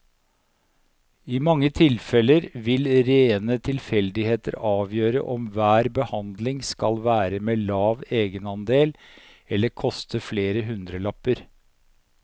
I mange tilfeller vil rene tilfeldigheter avgjøre om hver behandling skal være med lav egenandel eller koste flere hundrelapper.